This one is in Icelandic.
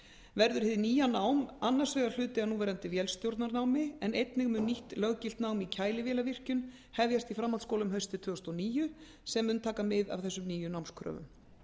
verður hið nýja nám annars vegar hluti af núverandi vélstjórnarnámi en einnig mun nýtt löggilt nám í kælivélavirkjun hefjast í framhaldsskólum haustið tvö þúsund og níu sem mun taka mið af þessum nýju námskröfum